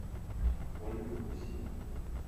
ольга гусева